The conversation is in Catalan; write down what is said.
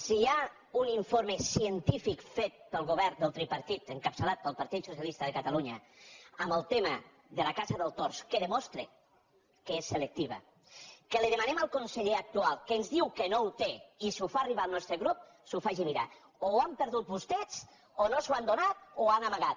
si hi ha un informe científic fet pel govern del tripartit encapçalat pel partit socialista de catalunya en el tema de la caça del tord que demostra que és selectiva que l’hi demanem al conseller actual que ens diu que no ho té i ho fa arribar al nostre grup s’ho faci mirar o ho han perdut vostès o no ens ho han donat o ho han amagat